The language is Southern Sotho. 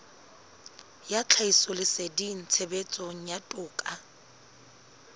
ya tlhahisoleseding tshebetsong ya toka